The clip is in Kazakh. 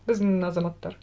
біздің азаматтар